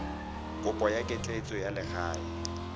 kopo ya ketleetso ya legae